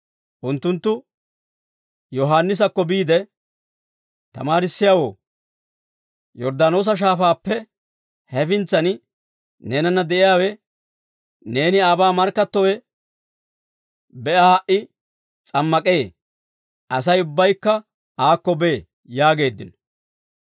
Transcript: Unttunttu Yohaannisakko biide, «Tamaarissiyaawoo, Yorddaanoosa Shaafaappe hefintsan neenanna de'iyaawe, neeni aabaa markkattowe, be'a ha"i s'ammak'ee; Asay ubbaykka aakko bee» yaageeddino.